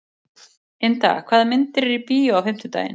Ynda, hvaða myndir eru í bíó á fimmtudaginn?